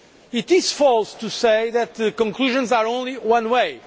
It is false to say that the conclusions are only one way.